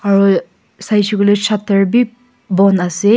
aru saishi koile shutter bi bon ase.